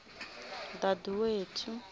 daduwethu